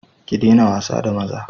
Ki daina wasa da maza!